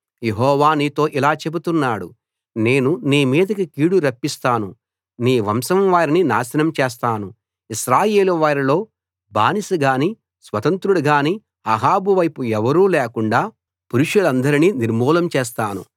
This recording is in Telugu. యెహోవా నీతో ఇలా చెబుతున్నాడు నేను నీ మీదికి కీడు రప్పిస్తాను నీ వంశం వారిని నాశనం చేస్తాను ఇశ్రాయేలు వారిలో బానిస గానీ స్వతంత్రుడు గానీ అహాబు వైపు ఎవరూ లేకుండా పురుషులందరినీ నిర్మూలం చేస్తాను